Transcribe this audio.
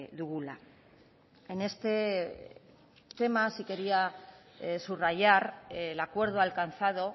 dugula en este tema sí quería subrayar el acuerdo alcanzado